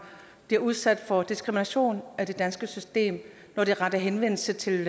bliver udsat for diskrimination af det danske system når de retter henvendelse til